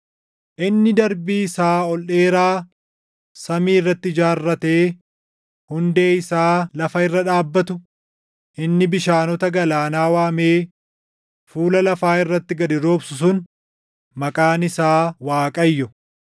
inni darbii isaa ol dheeraa samii irratti ijaarratee hundee isaa lafa irra dhaabbatu, inni bishaanota galaanaa waamee fuula lafaa irratti gad roobsu sun maqaan isaa Waaqayyo.